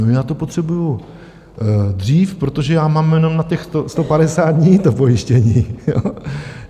No, já to potřebuji dřív, protože já mám jenom na těch 150 dní to pojištění.